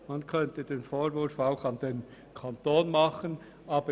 Man könnte auch dem Kanton einen Vorwurf machen.